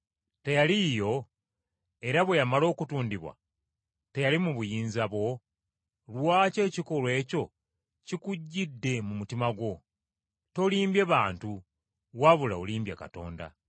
Teyali yiyo? Era bwe yamala okutundibwa, teyali mu buyinza bwo? Lwaki ekikolwa ekyo kikujjidde mu mutima gwo? Tolimbye bantu wabula olimbye Katonda.”